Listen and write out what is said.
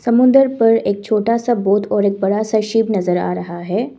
समुद्र पर एक छोटा सा बोट और एक बड़ा सा शिप नजर आ रहा है।